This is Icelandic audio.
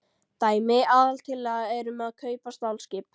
Dæmi: Aðaltillaga er um að kaupa stálskip.